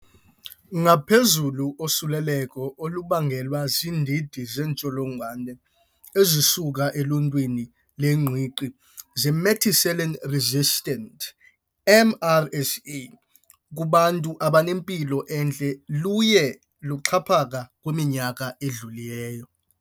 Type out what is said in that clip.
Ngaphezulu, usuleleko olubangelwe ziindidi zeentsholongowane ezisuka eluntwini lwengqiqi ze-methicillin-resistant, MRSA, kubantu abanempilo entle luye luxhaphaka kwiminyaka edlulileyo.